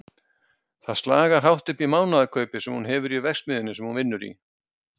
Það slagar hátt upp í mánaðarkaupið sem hún hefur í verksmiðjunni sem hún vinnur í.